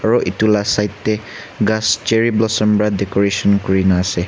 aro edu la side tae ghas cherry blossom pra decoration kurina ase.